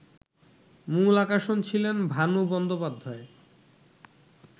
মূল আকর্ষণ ছিলেন ভানু বন্দোপাধ্যায়